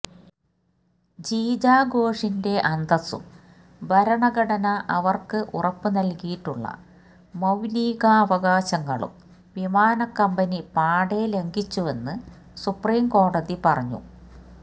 ജീജ ഘോഷിന്റെ അന്തസ്സും ഭരണഘടന അവര്ക്ക് ഉറപ്പു നല്കിയിട്ടുള്ള മൌലികാവകാശങ്ങളും വിമാന കമ്പനി പാടേ ലംഘിച്ചുവെന്നും സുപ്രീം കോടതി പറഞ്ഞു